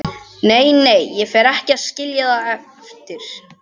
Nei, nei, ég fer ekki að skilja það eftir.